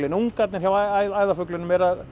ungarnir hjá æðarfuglinum